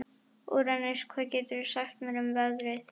Úranus, hvað geturðu sagt mér um veðrið?